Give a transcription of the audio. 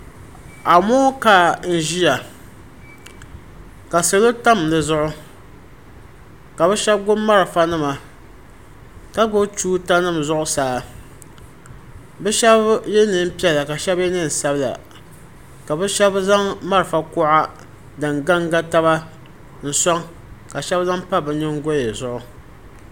amonkaa n-ʒiya ka salo tam di zuɣu ka bɛ shɛba gbubi malfanima ka gbubi tuuta nima zuɣusaa bɛ shɛba ye neen' piɛla ka shɛba ye neen' sabila ka bɛ shɛba zaŋ malfa kuɣa din ga n-ga taba n-sɔŋ ka shɛba zaŋ pa bɛ nyingoya zuɣu.